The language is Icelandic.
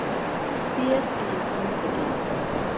Þér eruð handtekinn!